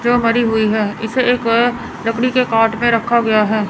जो मरी हुई है इसे एक लकड़ी के काट में रखा गया है।